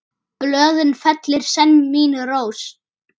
Blöðin fellir senn mín rós.